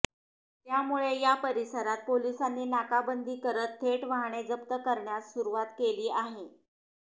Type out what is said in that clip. त्यामुळे या परिसरात पोलिसांनी नाकाबंदी करत थेट वाहने जप्त करण्यास सुरुवात केली आहे